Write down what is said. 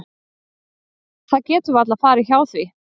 Það getur varla farið hjá því.